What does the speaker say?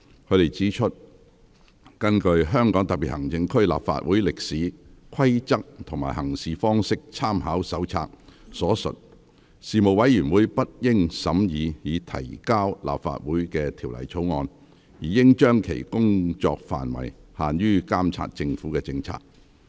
他們指出，根據《香港特別行政區立法會歷史、規則及行事方式參考手冊》所述，事務委員會不應審議已提交立法會的《條例草案》，而應將其工作範圍限於監察政府政策。